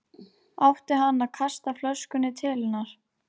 Átti hann að kasta flöskunni til hennar?